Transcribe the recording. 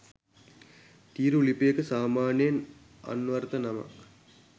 තීරු ලිපියක සාමාන්‍යයෙන් අන්වර්ථ නමක්